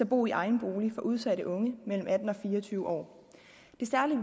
bo i egen bolig for udsatte unge mellem atten og fire og tyve år det særlige